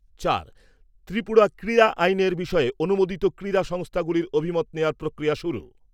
চার ত্রিপুরা ক্রীড়া আইন এর বিষয়ে অনুমেদিত ক্রীড়া সংস্থাগুলির অভিমত নেওয়ার প্রক্রিয়া শুরু।